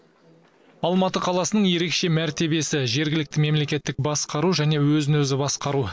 алматы қаласының ерекше мәртебесі жергілікті мемлекеттік басқару және өзін өзі басқару